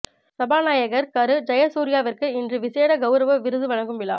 சபா நாயகர் கரு ஜயசூரியவிற்கு இன்று விசேட கௌரவ விருது வழங்கும் விழா